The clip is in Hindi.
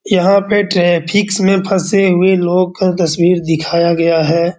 यहाँ पे ट्रेफिक्स में फँसे हुए लोग का तस्वीर दिखाया गया है।